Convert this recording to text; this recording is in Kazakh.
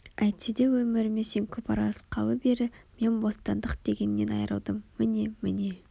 Әйтсе де өміріме сен көп араласқалы бері мен бостандық дегеннен айрылдым міне міне